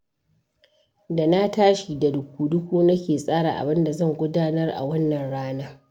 Da na tashi da duku-duku nake tsara abin da zan gudanar a wannan rana.